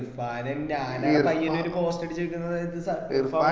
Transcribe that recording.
ഇർഫാനും ഞാനും പയ്യന്നൂർ post അടിച്ചു നിക്കുന്ന സമയത് സ